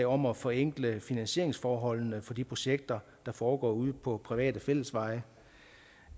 om at forenkle finansieringsforholdene for de projekter der foregår ude på private fællesveje